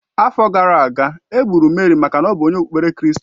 Afọ gara aga, e gburu Merị maka ọ bụ onye okpukpe kristi